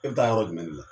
E bɛ taa yɔrɔ jumɛn de la